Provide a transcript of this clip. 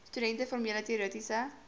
studente formele teoretiese